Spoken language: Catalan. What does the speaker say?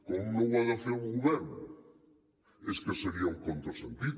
com no ho ha de fer el govern és que seria un contrasentit